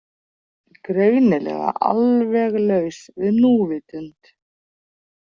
Greinilega alveg laus við núvitund.